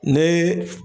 Ne